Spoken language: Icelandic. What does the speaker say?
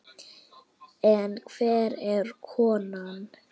En hver er konan?